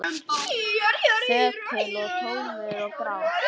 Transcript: Þögull og tómur og grár.